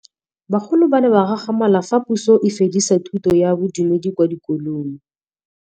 Bagolo ba ne ba gakgamala fa Pusô e fedisa thutô ya Bodumedi kwa dikolong.